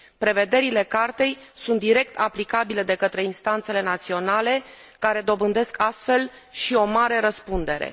Prevederile Cartei sunt direct aplicabile de către instanțele naționale, care dobândesc astfel și o mare răspundere.